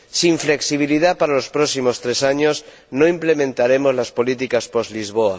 Sin flexibilidad para los próximos tres años no implementaremos las políticas post Lisboa.